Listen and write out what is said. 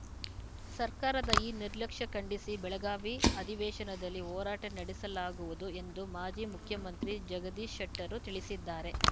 ಸರ್ಕಾರದ ಈ ನಿರ್ಲಕ್ಷ್ಯ ಖಂಡಿಸಿ ಬೆಳಗಾವಿ ಅಧಿವೇಶನದಲ್ಲಿ ಹೋರಾಟ ನಡೆಸಲಾಗುವುದು ಎಂದು ಮಾಜಿ ಮುಖ್ಯಮಂತ್ರಿ ಜಗದೀಶ ಶೆಟ್ಟರು ತಿಳಿಸಿದ್ದಾರೆ